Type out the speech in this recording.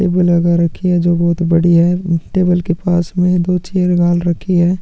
Table लगा रखी है जो बहोत बड़ी है अम्म टेबल के पास में दो चेयर डाल रखी है।